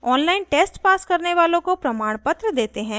online test pass करने वालों को प्रमाणपत्र देते हैं